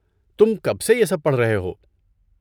تم کب سے یہ سب پڑھ رہے ہو؟